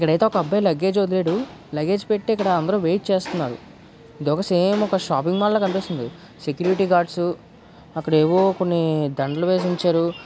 ఇక్కడ అయితే ఒక అబ్బాయి లగేజ్ వదిలాడు. లగేజ్ పెట్టి ఇక్కడ అందరూ వెయిట్ చేస్తున్నారు. ఇది ఒక సేమ్ ఒక షాపింగ్ మాల్ లా కనిపిస్తుంది. సెక్యూరిటీ గార్డ్స్ అక్కడ ఏవో కొన్ని దండలు వేసి ఉంచారు.